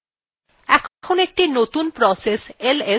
এখন একটি নতুন process ls তৈরি হয়ছে